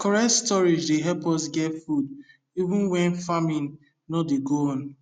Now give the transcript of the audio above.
correct storage dey help us get food even when farming no dey go on